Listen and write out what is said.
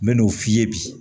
N bɛ n'o f'i ye bi